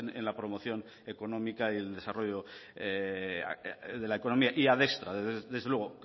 en la promoción económica y el desarrollo de la economía y adiestra desde luego